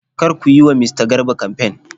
Kar ku yi wa mista Garba kamfen.!